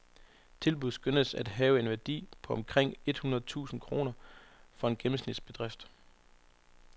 Tilbuddet skønnes at have en værdi på omkring et hundrede tusind kroner for en gennemsnitsbedrift.